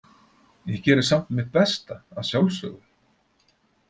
Ég geri samt mitt besta, að sjálfsögðu.